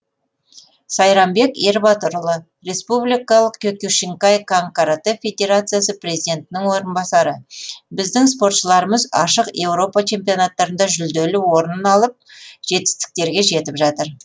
сайрамбек ербатырұлы республикалық киокушинкай кан каратэ федерациясы президентінің орынбасары біздің спортшыларымыз ашық еуропа чемпионаттарында жүлделі орын алып жетістіктерге жетіп жатыр